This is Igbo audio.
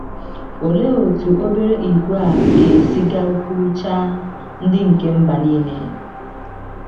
Olee otú obere ìgwè a ga - esi gakwuruchaa “ ndị nke mba nile ”?